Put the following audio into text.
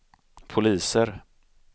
poliser